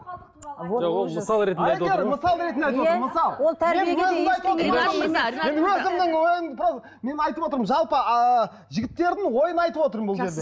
мен айтып отырмын жалпы ыыы жігіттердің ойын айтып отырмын бұл жерде